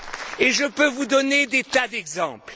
Et je peux vous donner des tas d'exemples.